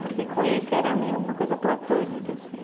Porque com esse era meio uma coisa platônica, assim.